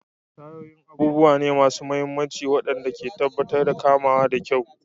Tayoyin abubuwa ne masu mahimmanci waɗanda ke tabbatar da kamawa da kyau.